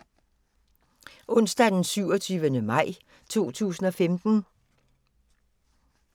Onsdag d. 27. maj 2015